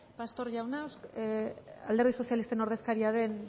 pastor jauna alderdi sozialisten ordezkaria den